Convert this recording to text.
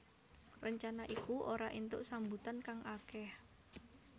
Rencana iku ora entuk sambutan kang akeh